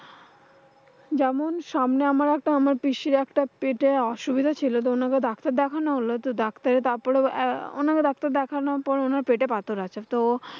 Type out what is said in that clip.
যেমন সামনে আমার একটা আমার পিসির একটা পেটে অসুবিধা ছিল। তো অনাকে ডাক্তার দেখানো হল তো ডাক্তার তারপরে আহ ওনাকে doctor দেখানোর পর ওনার পেটে পাথর আছে। তো